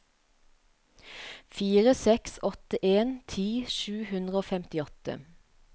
fire seks åtte en ti sju hundre og femtiåtte